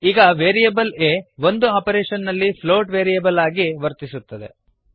ಈಗ ವೇರಿಯೇಬಲ್ ಆ ಒಂದು ಆಪರೇಶನ್ ನಲ್ಲಿ ಫ್ಲೋಟ್ ವೇರಿಯೇಬಲ್ ಆಗಿ ವರ್ತಿಸುತ್ತದೆ